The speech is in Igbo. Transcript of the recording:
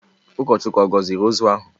Ụkọchukwu ọ̀ gọziri ozu ahụ?